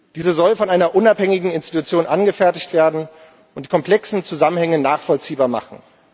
Diese soll von einer unabhängigen Institution angefertigt werden und komplexe Zusammenhänge nachvollziehbar machen.